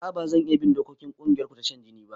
A'a bazan iya bin dokokin kungiyarku ta shan jini ba